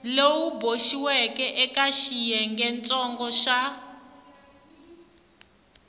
lowu boxiweke eka xiyengentsongo xa